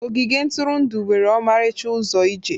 Ogige ntụrụndụ nwere ọmarịcha ụzọ ije.